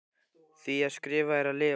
Því að skrifa er að lifa.